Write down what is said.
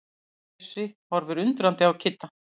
Bjössi horfir undrandi á Kidda.